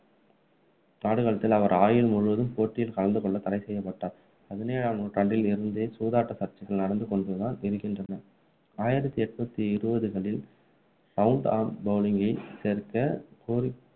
ஆடுகளத்தில் அவர் ஆயுள் முழுவதும் போட்டியில் கலந்துகொள்ள தடை செய்யப்பட்டார் பதினேழாம் நூற்றாண்டில் இருந்தே சூதாட்ட சர்ச்சைகள் நடந்துகொண்டுதான் இருக்கின்றன ஆயிரத்து எட்நூத்தி இருபதுகளில் round arm bowling ஐ சேர்க்க கோரி